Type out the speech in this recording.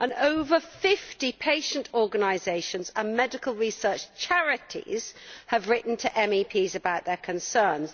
Over 50 patient organisations and medical research charities have written to MEPs about their concerns.